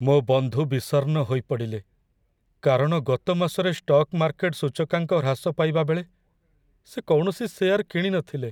ମୋ ବନ୍ଧୁ ବିଷର୍ଣ୍ଣ ହୋଇପଡ଼ିଲେ, କାରଣ ଗତ ମାସରେ ଷ୍ଟକ୍ ମାର୍କେଟ୍ ସୂଚକାଙ୍କ ହ୍ରାସ ପାଇବା ବେଳେ ସେ କୌଣସି ସେଆର୍ କିଣିନଥିଲେ।